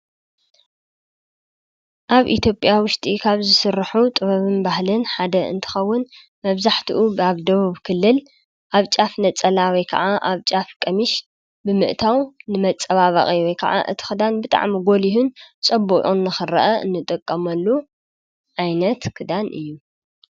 ኣብ ኢትዮጴኣ ውሽጢ ኻብ ዝሥርሑ ጥበብን ባህልን ሓደ እንትኸውን መብዛሕቲኡ ብኣብ ደቡብ ክልል ኣብ ጫፍ ነጸላወይ ከዓ ኣብ ጫፍ ሚሽ ብምእታው ንመጸባባቒይ ወይ ከዓ እቲኽዳን ብጣዕሚጐል ይሁን ጸቡዑ ነኽርአ እንጠቀምሉ ኣይነት ክዳን እዩ።